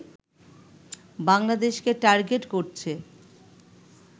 বাংলাদেশকে টার্গেট করছে